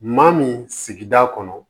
Maa min sigida kɔnɔ